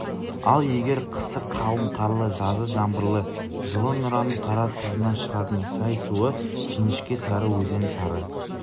ал егер қысы қалың қарлы жазы жаңбырлы жылы нұраның қаратұзынан шығатын сай суы жіңішке сарыөзен сары